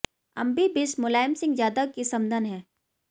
अम्बी बिष्ट मुलायम सिंह यादव की समधन हैं